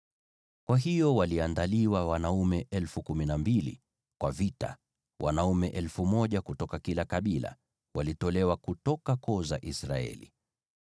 Kwa hiyo waliandaliwa wanaume 12,000 kwa vita, wanaume 1,000 kutoka kila kabila, walitolewa kutoka koo za Israeli.